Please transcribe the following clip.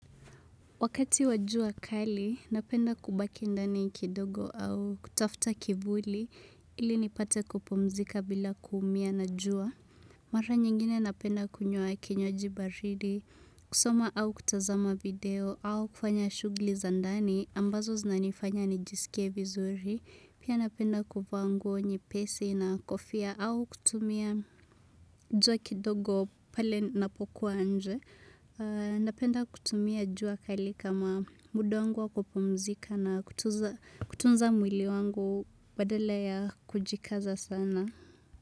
Wakati wa jua kali, napenda kubaki ndani kidogo au kutafuta kivuli ili nipate kupumzika bila kuumia na jua. Mara nyingine napenda kunywa kinywaji baridi, kusoma au kutazama video au kufanya shugli za ndani ambazo zinanifanya nijisikie vizuri. Pia napenda kuvaa nguo nyepesi na kofia au kutumia jua kidogo pale ninapokuwa nje. Napenda kutumia jua kali kama muda wangu wakupumzika na kutunza mwili wangu badala ya kujikaza sana.